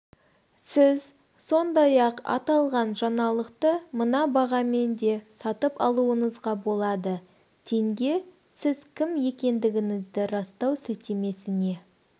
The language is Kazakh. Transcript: сіз сондай-ақ аталған жаңалықты мына бағамен де сатып алуыңызға болады тенге сіз кім екендігіңізді растау сілтемесіне